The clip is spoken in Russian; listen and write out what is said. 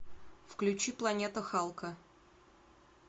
включи планета халка